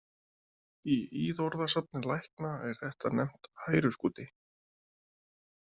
Í íðorðasafni lækna er þetta nefnt hæruskúti.